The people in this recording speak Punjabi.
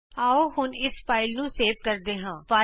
ਆਉ ਹੁਣ ਇਸ ਫਾਈਲ ਨੂੰ ਸੇਵ ਕਰਦੇ ਹਾਂ